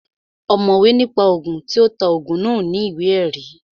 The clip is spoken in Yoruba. Ọ̀mọ̀wé ní pa Ògùn, tí ó ta Ògùn náà ò ní ìwé ẹ̀rí